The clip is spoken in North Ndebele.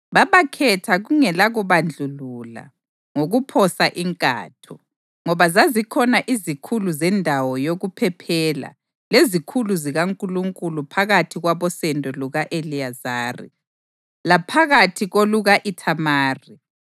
Babakhetha kungelakubandlulula ngokuphosa inkatho, ngoba zazikhona izikhulu zendawo yokuphephela lezikhulu zikaNkulunkulu phakathi kwabosendo luka-Eliyazari laphakathi koluka-Ithamari.